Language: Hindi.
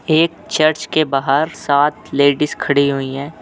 एक चर्च के बाहर सात लेडिस खड़ी हुई हैं।